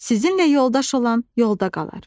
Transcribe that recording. Sizinlə yoldaş olan yolda qalar."